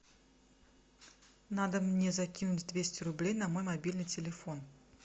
надо мне закинуть двести рублей на мой мобильный телефон